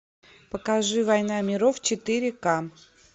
покажи война миров четыре к